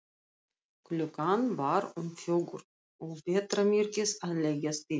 Klukkan var um fjögur og vetrarmyrkrið að leggjast yfir.